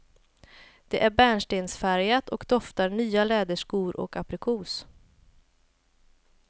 Det är bärnstensfärgat och doftar nya läderskor och aprikos.